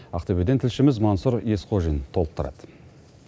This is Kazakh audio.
ақтөбеден тілшіміз маңсұр есқожин толықтырады